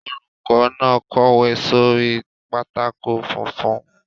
Olùkọ́ náà kọ̀wé sórí pátákó funfun.